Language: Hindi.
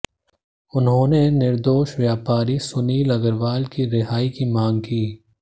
उन्होंने निर्दोष व्यापारी सुनील अग्रवाल की रिहाई की मांग की